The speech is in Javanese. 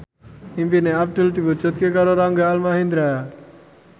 impine Abdul diwujudke karo Rangga Almahendra